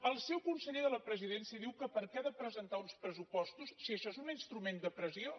el seu conseller de la presidència diu que per què ha de presentar uns pressupostos si això és un instrument de pressió